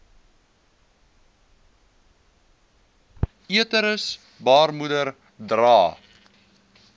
uterus baarmoeder dra